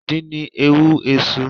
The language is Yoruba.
Àdín ni èèwò Èsù